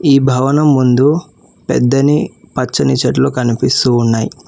ఈ భవనం ముందు పెద్దని పచ్చని చెట్లు కనిపిస్తూ ఉన్నాయ్.